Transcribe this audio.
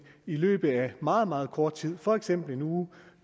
i løbet af meget meget kort tid for eksempel en uge